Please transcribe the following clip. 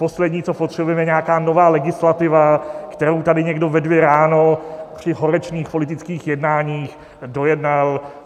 Poslední, co potřebujeme, je nějaká nová legislativa, kterou tady někdo ve dvě ráno při horečných politických jednáních dojednal.